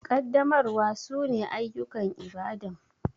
Kaddamarwa su ne ayukan Ibadan